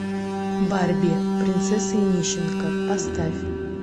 барби принцесса и нищенка поставь